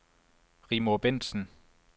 Rigmor Bentsen